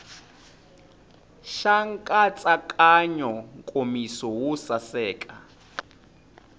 xa nkatsakanyo nkomiso wo saseka